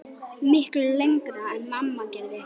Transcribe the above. Miklu lengra en mamma gerði.